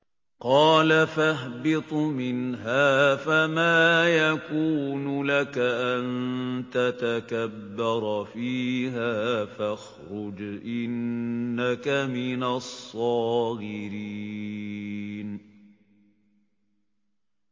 قَالَ فَاهْبِطْ مِنْهَا فَمَا يَكُونُ لَكَ أَن تَتَكَبَّرَ فِيهَا فَاخْرُجْ إِنَّكَ مِنَ الصَّاغِرِينَ